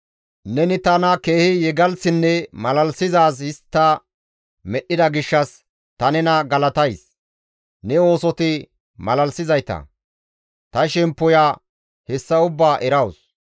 Neni tana keehi yegalththinne malalisizaaz histta medhdhida gishshas ta nena galatays; ne oosoti malalisizayta! Ta shemppoya hessa ubbaa erawus.